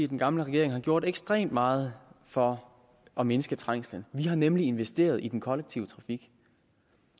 den gamle regering har gjort ekstremt meget for at mindske trængslen de har nemlig investeret i den kollektive trafik